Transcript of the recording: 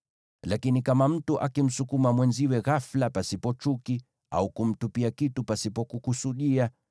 “ ‘Lakini kama mtu akimsukuma mwenziwe ghafula pasipo chuki, au kumtupia kitu pasipo kukusudia,